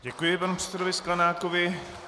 Děkuji panu předsedovi Sklenákovi.